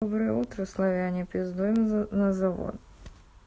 доброе утро славяне пиздуем на завод